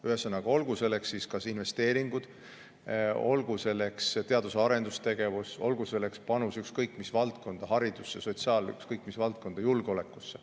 Ühesõnaga, olgu selleks kas investeeringud, teadus‑ ja arendustegevus, panus ükskõik mis valdkonda, haridusse, sotsiaal- või ükskõik mis valdkonda, kas või julgeolekusse.